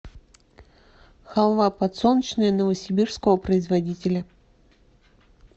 халва подсолнечная новосибирского производителя